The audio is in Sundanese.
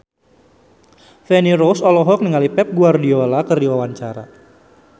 Feni Rose olohok ningali Pep Guardiola keur diwawancara